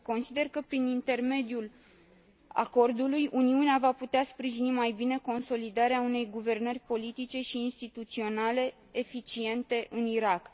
Consider că, prin intermediul acordului, Uniunea va putea sprijini mai bine consolidarea unei guvernări politice și instituționale eficiente în Irak.